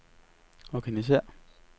organisér